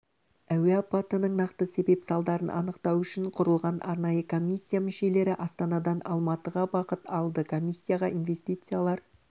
әуе апатының нақты себеп-салдарын анықтау үшін құрылған арнайы комиссия мүшелері астанадан алматыға бағыт алды комиссияға инвестициялар